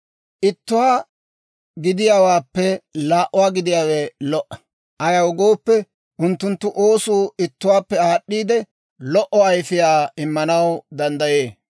Ittuwaa gidiyaawaappe laa"a gidiyaawe lo"a; ayaw gooppe, unttunttu oosuu ittuwaawaappe aad'd'iide, lo"o ayifiyaa immanaw danddayee.